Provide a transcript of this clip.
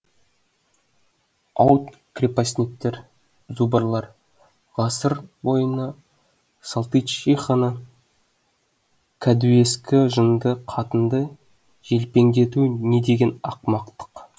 ауд крепостниктер зубрлар ғасыр бойына салтычиханы кәдуескі жынды қатынды желпеңдету не деген ақымақтық